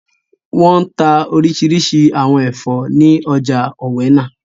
Wọ́n n ta orísirísi àwọn ẹ̀fọ́ ní ọjà ọ̀wẹnà